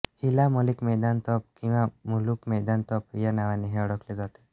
हिला मलिक मैदान तोफ किंवा मुलुख मैदान तोफ या नावानेही ओळखले जाते